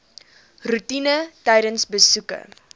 roetine tydens besoeke